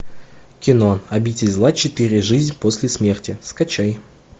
кино обитель зла четыре жизнь после смерти скачай